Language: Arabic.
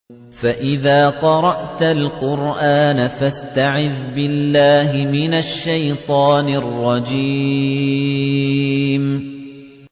فَإِذَا قَرَأْتَ الْقُرْآنَ فَاسْتَعِذْ بِاللَّهِ مِنَ الشَّيْطَانِ الرَّجِيمِ